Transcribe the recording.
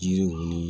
Yiri ninnu